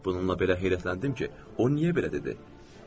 Bununla belə heyrətləndim ki, o niyə belə dedi?